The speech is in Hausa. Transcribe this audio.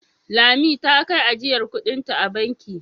Lami ta kai ajiyar kuɗinta a banki.